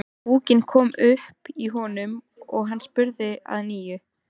Púkinn kom upp í honum og hann spurði að nýju.